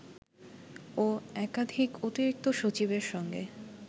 ও একাধিক অতিরিক্ত সচিবের সঙ্গে